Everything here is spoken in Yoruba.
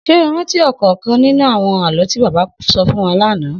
S̩é o rántí ò̩kò̩ò̩kan nínú àwo̩n àló̩ tí bàbá sọ fún wa lánàá?